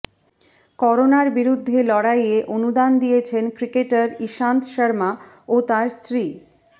করোনার বিরুদ্ধে লড়াইয়ে অনুদান দিয়েছেন ক্রিকেটার ইশান্ত শর্মা ও তার স্ত্রী